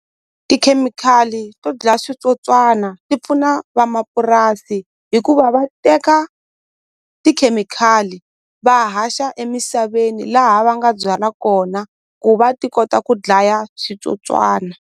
Tikhemikhali to dlaya switsotswana ti pfuna vamapurasi hikuva va teka tikhemikhali va haxa emisaveni laha va nga byala kona ku va ti kota ku dlaya switsotswana.